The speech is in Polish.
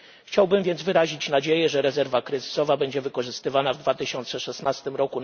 Chciałbym więc wyrazić nadzieję, że rezerwa kryzysowa będzie wykorzystywana w 2016 r.